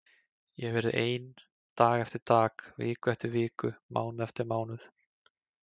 Ég hefi verið ein dag eftir dag, viku eftir viku, mánuð eftir mánuð.